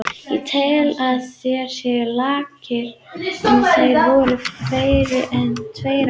Ég tel að þeir séu lakari en þeir voru fyrir tveimur árum.